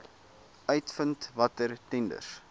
uitvind watter tenders